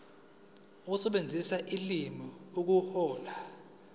ukusebenzisa ulimi ukuhlola